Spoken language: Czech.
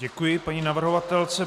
Děkuji paní navrhovatelce.